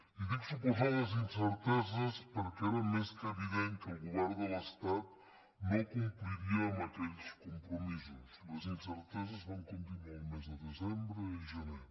i dic suposades incerteses perquè era més que evident que el govern de l’estat no compliria amb aquells compromisos les incerteses van continuar el mes de desembre i el gener